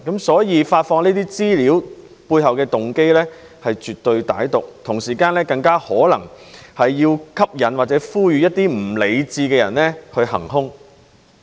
所以，發放這些資料的背後動機，是絕對歹毒的，更可能是要吸引或呼籲一些不理智的人行兇。